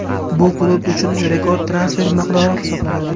Bu klub uchun rekord transfer miqdori hisoblanadi.